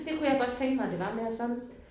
Det kunne jeg godt tænke mig det var mere sådan